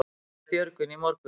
Sagði Björgvin í morgun.